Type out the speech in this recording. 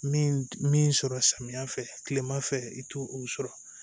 Min min sɔrɔ samiyɛ fɛ kilema fɛ i ti o sɔrɔ